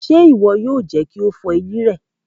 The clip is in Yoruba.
Ṣe iwọ yoo jẹ ki o fọ eyin rẹ!